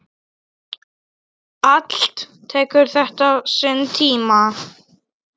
Allt tekur þetta sinn tíma.